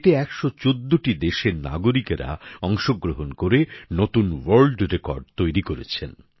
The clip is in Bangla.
এতে ১১৪টি দেশের নাগরিকরা অংশগ্রহণ করে নতুন ওয়ার্ল্ড রেকর্ড তৈরি করেছেন